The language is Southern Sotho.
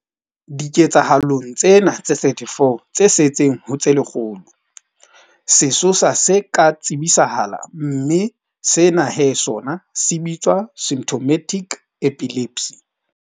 Diketsahalong tsena tse 34 tse setseng ho tse lekgolo, sesosa se ka tsebisahala mme sena he sona se bitswa symptomatic epilepsy.